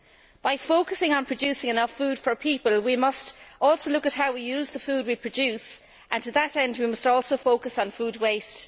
In focusing on producing enough food for people, we must also look at how we use the food we produce and, to that end, we must also focus on food waste.